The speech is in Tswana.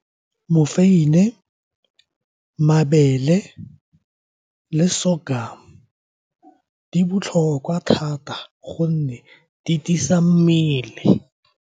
Mofeini, mabele le sorghum di botlhokwa thata gonne di tiisa mmele.